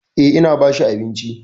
Eh, ina ba shi abinci.